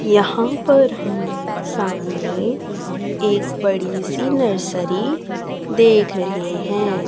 यहां पर हम सामने एक बड़ी सी नर्सरी देख रहे हैं।